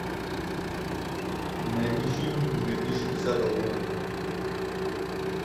найди фильм две тысячи десятого года